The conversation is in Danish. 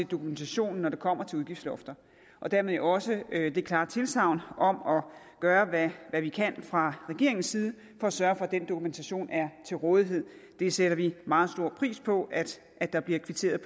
dokumentationen når det kommer til udgiftslofter og dermed jo også det klare tilsagn om at gøre hvad hvad vi kan fra regeringens side for at sørge for at den dokumentation er til rådighed det sætter vi meget stor pris på at der bliver kvitteret